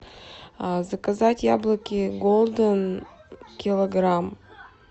заказать яблоки голден килограмм